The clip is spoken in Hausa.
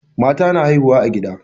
Mata na haihuwa a gida.